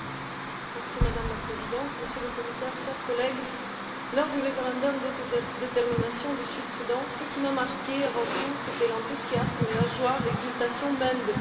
Madame la Présidente, Monsieur le Commissaire, chers collègues, lors du référendum d'autodétermination du Sud Soudan, ce qui m'a marquée avant tout, c'était l'enthousiasme, la joie, l'exultation même des populations.